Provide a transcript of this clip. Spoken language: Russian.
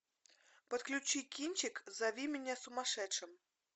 подключи кинчик зови меня сумасшедшим